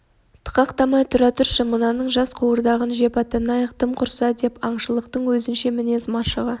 тықақтамай тұра тұршы мынаның жас қуырдағын жеп аттанайық тым құрса деп еді аңшылықтың өзінше мінез машығы